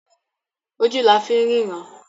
Ojú la fi ń ríran.